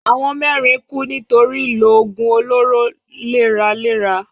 Àwọn mẹ́rin kú nítorí ìlò òògùn olóró léraléra.